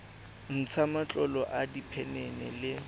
ntsha matlolo a diphenene le